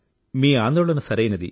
మీ ఆందోళన సరైనది